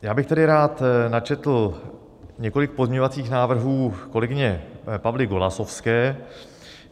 Já bych tedy rád načetl několik pozměňovacích návrhů kolegyně Pavly Golasowské.